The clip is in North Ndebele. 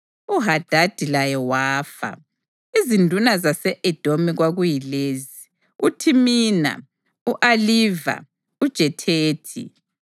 UHadadi laye wafa. Izinduna zase-Edomi kwakuyilezi: uThimina, u-Aliva, uJethethi,